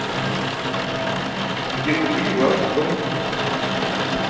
где купить влажный корм